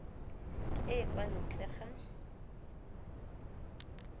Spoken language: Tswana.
e e kwa ntle ga